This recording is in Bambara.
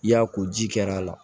I y'a ko ji kɛr'a la